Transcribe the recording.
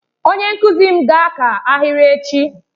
Onye nkuzi m ga-aka ahịrị echi.